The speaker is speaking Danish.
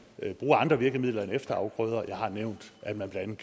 kan bruge andre virkemidler end efterafgrøder jeg har nævnt at man blandt